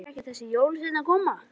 Fer ekki þessi jólasveinn að koma?